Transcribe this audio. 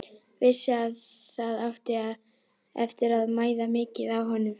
Vissi að það átti eftir að mæða mikið á honum.